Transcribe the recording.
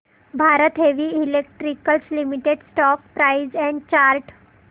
Bharat heavy electricals limited stock price and chart